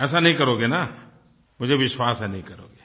ऐसा नहीं करोगे न मुझे विश्वास है नहीं करोगे